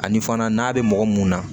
Ani fana n'a bɛ mɔgɔ mun na